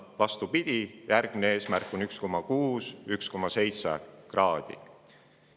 Vastupidi, järgmine eesmärk on 1,6–1,7-kraadise.